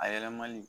A yɛlɛmani